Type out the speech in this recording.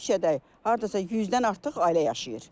Bu küçədə hardasa 100-dən artıq ailə yaşayır.